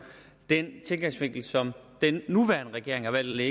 den indgangsvinkel som den nuværende regering har valgt at